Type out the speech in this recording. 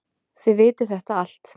Þið vitið þetta allt.